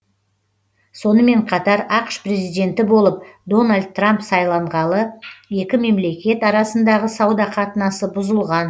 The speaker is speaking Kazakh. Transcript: сонымен қатар ақш президенті болып дональд трамп сайланғалы екі мемлекет арасындағы сауда қатынасы бұзылған